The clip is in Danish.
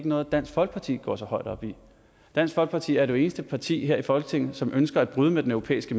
noget dansk folkeparti går så højt op i dansk folkeparti er det eneste parti her i folketinget som ønsker at bryde med den europæiske